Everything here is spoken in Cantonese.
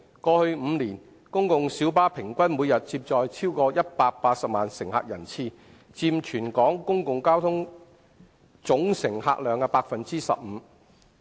過去5年，公共小巴平均每天接載超過180萬乘客人次，約佔全港公共交通總乘客量的 15%。